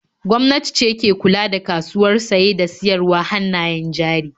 Gwamnati ce ke kula da kasuwar saye da siyarwar hannayen jari.